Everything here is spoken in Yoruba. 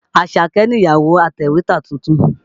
Àṣàkẹ́ nìyàwó atẹ̀wétà tuntun.